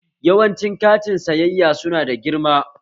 Yawanci kantin sayayya su na da girma